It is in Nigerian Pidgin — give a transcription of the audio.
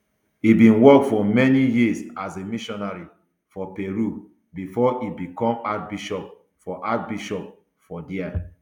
e bin work for many years as a missionary for peru before e bicom archbishop for archbishop for dia